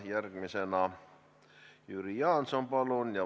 Järgmisena Jüri Jaanson, palun!